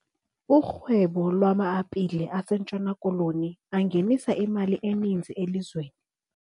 Urhwebo lwama-apile asNtshona Koloni angenisa imali eninzi elizweni.